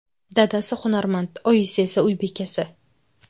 Dadasi hunarmand, oyisi esa uy bekasi.